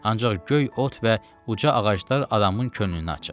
Ancaq göy ot və uca ağaclar adamın könlünü açır.